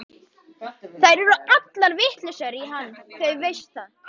Þær eru allar vitlausar í hann, þú veist það.